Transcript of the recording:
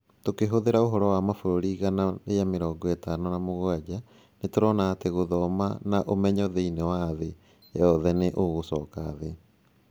Tũkĩhũthĩra ũhoro wa mabũrũri igana rĩa mĩrongo ĩtano na mũgwanja, nĩ tũrona atĩ gũthoma na ũmenyo thĩinĩ wa thĩ yothe nĩ igũcoka thĩ.